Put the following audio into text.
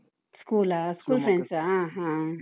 School ಆ? school friends ಆ? ಹ.